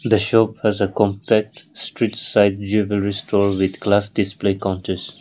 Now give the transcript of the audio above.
the shop has a compact street side jwellery store with glass display counters.